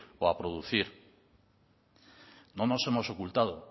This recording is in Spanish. o a producir no nos hemos ocultado